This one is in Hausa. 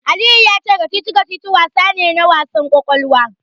Aliyu ya ce kacici-kacici wasa ne na wasa ƙwaƙwalwa.